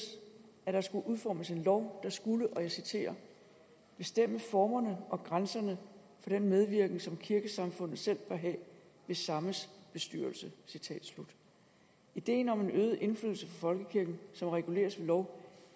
at der skulle udformes en lov der skulle bestemme formerne og grænserne for den medvirken som kirkesamfundet selv bør have ved sammes bestyrelse ideen om en øget indflydelse på folkekirken som reguleres ved lov